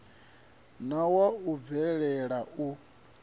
na wa u bvelela u